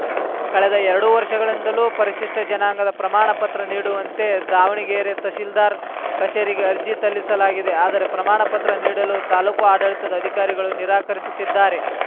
ಕಳೆದ ಎರಡು ವರ್ಷಗಳಿಂದಲೂ ಪರಿಶಿಷ್ಟಜನಾಂಗದ ಪ್ರಮಾಣಪತ್ರ ನೀಡುವಂತೆ ದಾವಣಗೆರೆ ತಹಸೀಲ್ದಾರ್‌ ಕಚೇರಿಗೆ ಅರ್ಜಿ ತಲ್ಲಿಸಲಾಗಿದೆ ಆದರೆ ಪ್ರಮಾಣಪತ್ರ ನೀಡಲು ತಾಲೂಕು ಆಡಳಿತದ ಅಧಿಕಾರಿಗಳು ನಿರಾಕರಿಸುತ್ತಿದ್ದಾರೆ